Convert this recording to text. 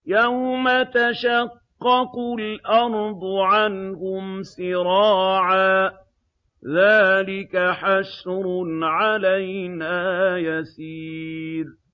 يَوْمَ تَشَقَّقُ الْأَرْضُ عَنْهُمْ سِرَاعًا ۚ ذَٰلِكَ حَشْرٌ عَلَيْنَا يَسِيرٌ